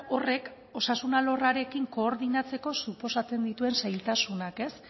horrek osasun alorrarekin koordinatzeko suposatzen dituen zailtasunak